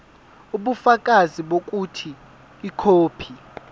ubufakazi bokuthi ikhophi